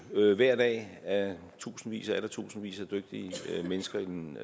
hver dag af tusindvis og atter tusindvis af dygtige mennesker i den